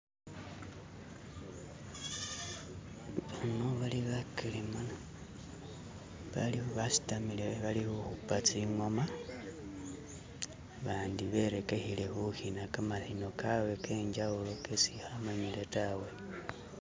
imo balimo bakelema basitamile bali huhupa tsingoma bandi berekehele huhina kamahino kawe kenjawulo kesi ihamanyile tawe